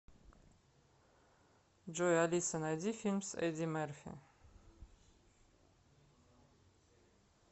джой алиса найди фильм с эдди мерфи